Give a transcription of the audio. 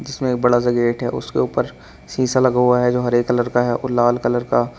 इसमें एक बड़ा सा गेट है उसके ऊपर शीशा लगा हुआ है जो हरे कलर का है और लाल कलर का--